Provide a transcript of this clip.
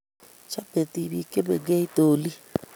Chame tibiik chemengech doli--